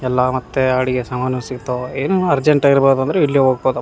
ಎಲ್ಲ ಮತ್ತೆ ಅಡುಗೆ ಸಾಮಾನು ಸಿಗತ್ತವ ಏನಾನ ಅರ್ಜೆಂಟ್ ಆಗಿರ್ಬದು ಅಂದ್ರೆ ಇಲ್ಲೇ ಹೋಗ್ಬೋದಪ್ .